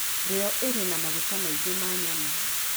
rio irĩ na maguta maingĩ ma nyamũ,